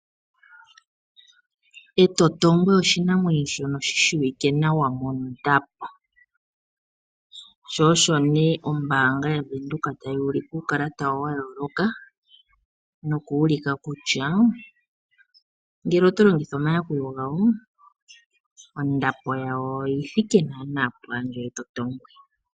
Etotongwe oshinamwenyo shono shi shiwike nawa mondapo sho osho nee ombaanga yavenduka tayi ulike uukalata wawo wa yooloka noku ulika kutya ngele oto longitha omayakulo gawo ondapo yawo oyi thike naanaa pwaandjo yetotongwe.